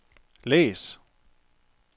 læs